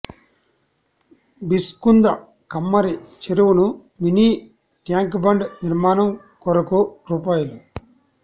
బిచ్కుంద కమ్మరి చెరు వును మినీ ట్యాంక్బండ్ నిర్మాణం కొరకు రూ